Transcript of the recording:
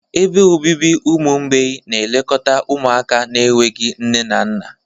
Ebe obibi ụmụ mgbei na-elekọta ụmụaka na-enweghị nne na nna.